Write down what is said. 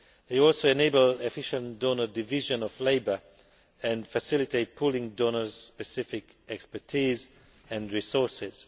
They also enable the efficient donor division of labour and facilitate pooling donors' specific expertise and resources.